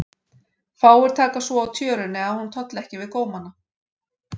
Fáir taka svo á tjörunni að hún tolli ekki við gómana.